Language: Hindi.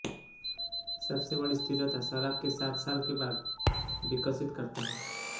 सबसे बड़ी स्थिरता शराब के सात साल के बाद विकसित करता है